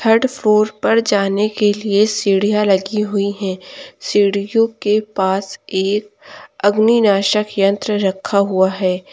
Third floor पर जाने के लिए सीढ़ियां लगी हुई हैं सीढ़ियों के पास एक अग्नि नाशक यंत्र रखा हुआ है।